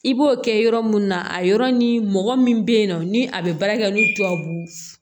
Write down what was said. I b'o kɛ yɔrɔ mun na a yɔrɔ ni mɔgɔ min bɛ yen nɔ ni a bɛ baara kɛ ni tubabu